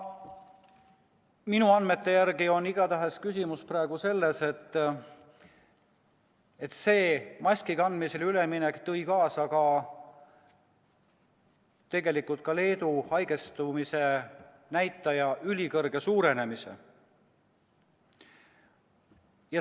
Minu andmete järgi on igatahes küsimus praegu selles, et maski kandmisele üleminek tõi tegelikult kaasa Leedu haigestumisnäitaja ülisuure kasvu.